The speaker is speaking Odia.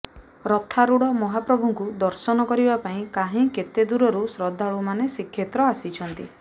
ରଥାଋଢ଼ ମହାପ୍ରଭୁଙ୍କୁ ଦର୍ଶନ କରିବା ପାଇଁ କାହିଁ କେତେଦୂରରୁ ଶ୍ରଦ୍ଧାଳୁମାନେ ଶ୍ରୀକ୍ଷେତ୍ର ଆସିଛନ୍ତି